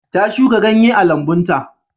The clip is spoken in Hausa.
Ta shuka ganye a lambun ta.